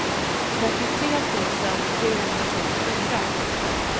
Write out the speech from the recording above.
trettiotre tusen trehundratrettiofyra